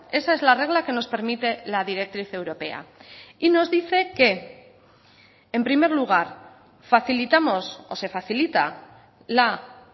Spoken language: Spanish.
esa es la regla que nos permite la directriz europea y nos dice que en primer lugar facilitamos o se facilita la